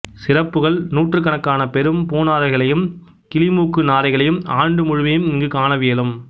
சிறப்புகள் நூற்றுக்கணக்கான பெரும் பூநாரைகளையும் கிளிமூக்கு நாரைகளையும் ஆண்டு முழுமையும் இங்கு காணவியலும்